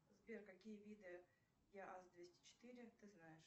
сбер какие виды яаз двести четыре ты знаешь